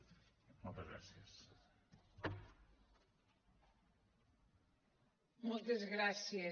moltes gràcies